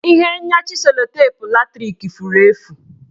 Ihe nyachi sellotape latrik furu efu